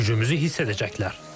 Gücümüzü hiss edəcəklər.